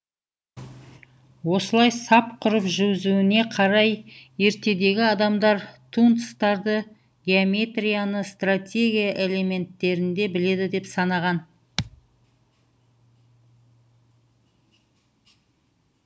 осылай сап құрып жүзуіне қарай ертедегі адамдар тунцтарды геометрияны стратегия элементтерінде біледі деп санаған